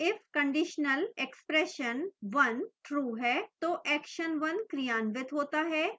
if conditionalexpression1 true है तो action1 क्रियान्वित होता है